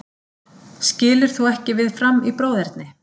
Skilur þú ekki við Fram í bróðerni?